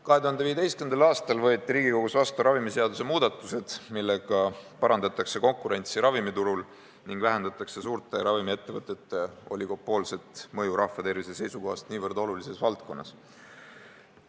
2015. aastal võeti Riigikogus vastu ravimiseaduse muudatused, mis parandavad konkurentsi ravimiturul ning vähendavad suurte ravimiettevõtete oligopoolset mõju rahvatervise seisukohast niivõrd olulises valdkonnas.